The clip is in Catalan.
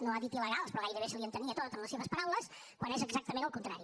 no ha dit il·legals però gairebé se li entenia tot en les seves paraules quan és exactament el contrari